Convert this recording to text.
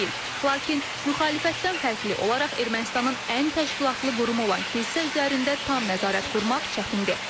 Lakin müxalifətdən fərqli olaraq Ermənistanın ən təşkilatlı qurumu olan kilsə üzərində tam nəzarət qurmaq çətindir.